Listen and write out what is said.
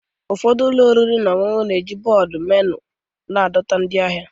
Ụfọdụ ụlọ oriri na ọṅụṅụ na-eji bọọdụ menu ha adọta ndị ahịa